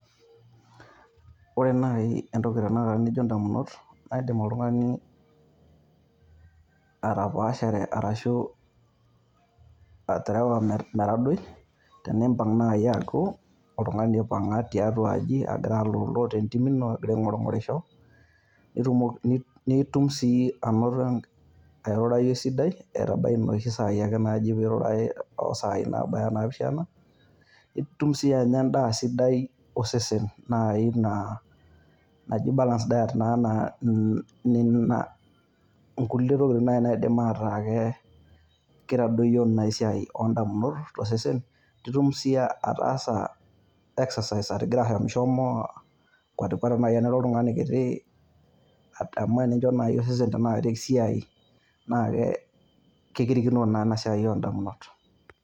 Ore nai entoki tenekata nijo indamunot naa indim oltungani atapaashare arashu atarawa metadoi teneimpang' naii aaku oltungani oipang tiatua aji aagira aloolo te intimi agira aing'or ng'orisho, nitum sii anoto ailurai sidai etabaiye noshi saai enaaji esaai naabaya naapishana, itum sii anya indaa sidai osesen naai naa naji[cs[balance diet nenia nkule tokitin naidim ataa ake keitadoiyio ina siaai oondamunot te sesen, nitum sii ataasa exercise atigira ashom shom akuatikuata, ore naai ake oltungani kitii adamu ajo naai esesen tenakata esiaai naa kee kirikino naa ena siaai oondamunot.